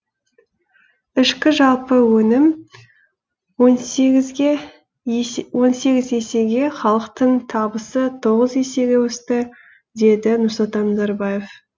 ішкі жалпы өнім он сегіз есеге халықтың табысы тоғыз есеге өсті деді нұрсұлтан назарбаев